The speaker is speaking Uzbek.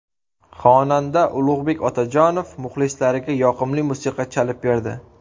Xonanda Ulug‘bek Otajonov muxlislariga yoqimli musiqa chalib berdi.